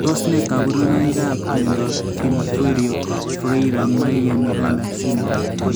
Tos ne kaborunoikap miondop Pinheiro Freire Maia Miranda syndrome?